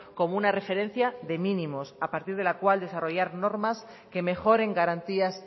como una referencia de mínimos a partir de la cual desarrollar normas que mejoren garantías